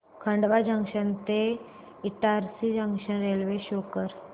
Khandwa junction ते Itarsi junction railway show कर